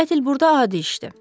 Qətl burda adi işdir.